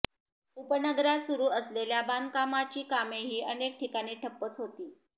उपनगरात सुरू असलेल्या बांधकामांची कामेही अनेक ठिकाणी ठप्पच होती